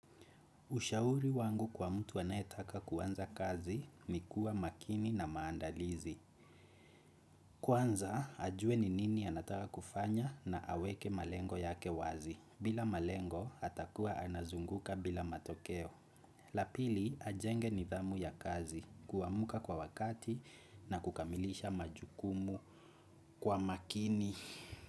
Ushauri wangu kwa mtu anayetaka kuanza kazi ni kuwa makini na maandalizi. Kwanza, ajuwe ni nini anataka kufanya na aweke malengo yake wazi. Bila malengo, atakuwa anazunguka bila matokeo. La pili, ajenge nidhamu ya kazi, kuamka kwa wakati na kukamilisha majukumu kwa makini.